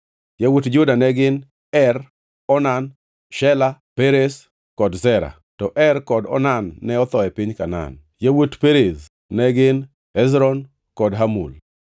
Yawuot Juda ne gin: Er, Onan, Shela, Perez kod Zera (to Er kod Onan ne otho e piny Kanaan). Yawuot Perez ne gin: Hezron kod Hamul.